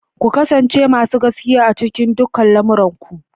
Ku kasance masu gaskiya a cikin dukkan lamuran ku.